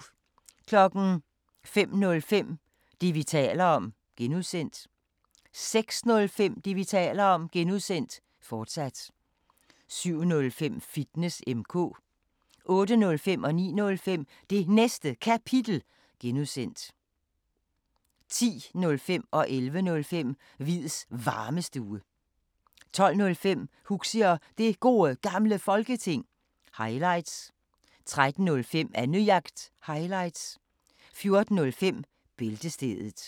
05:05: Det, vi taler om (G) 06:05: Det, vi taler om (G), fortsat 07:05: Fitness M/K 08:05: Det Næste Kapitel (G) 09:05: Det Næste Kapitel (G) 10:05: Hviids Varmestue 11:05: Hviids Varmestue 12:05: Huxi og Det Gode Gamle Folketing – highlights 13:05: Annejagt – highlights 14:05: Bæltestedet